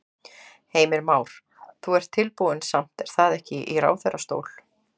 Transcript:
Heimir Már: Þú ert tilbúinn samt er það ekki í ráðherrastól?